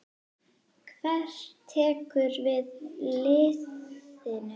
Hver tekur við liðinu?